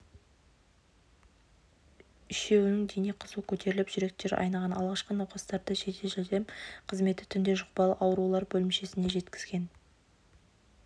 үшеуінің дене қызуы көтеріліп жүректері айныған алғашқы науқастарды жедел-жәрдем қызметі түнде жұқпалы аурулар бөлімшесіне жеткізген